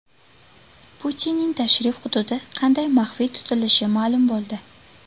Putinning tashrif hududi qanday maxfiy tutilishi ma’lum bo‘ldi.